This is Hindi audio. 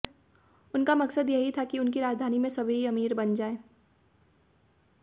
उनका मकसद यही था कि उनकी राजधानी में सभी अमीर बन जाएं